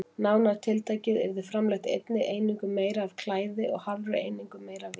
Nánar tiltekið yrði framleitt einni einingu meira af klæði og hálfri einingu meira af víni.